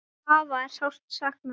Afa er sárt saknað.